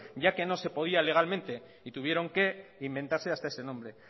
ya que no se podía legalmente y tuvieron que inventarse hasta ese nombre